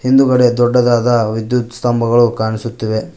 ಹಿಂದುಗಡೆ ದೊಡ್ಡದಾದ ವಿದ್ಯುತ್ ಸ್ಥಂಭಗಳು ಕಾಣಿಸುತ್ತಿವೆ.